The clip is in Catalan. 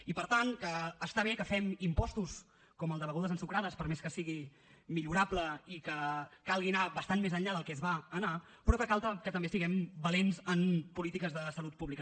i per tant està bé que fem impostos com el de begudes ensucrades per més que sigui millorable i que calgui anar bastant més enllà del que es va anar però cal que també siguem valents en polítiques de salut pública